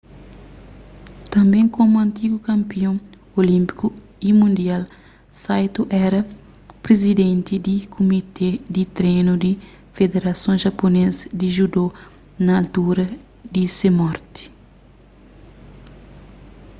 tanbê komu antigu kanpion olínpiku y mundial saito éra prizidenti di kumité di trenu di federason japunês di judo na altura di se morti